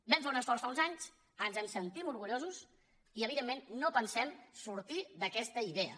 vam fer un esforç fa uns anys ens en sentim orgullosos i evidentment no pensem sortir d’aquesta idea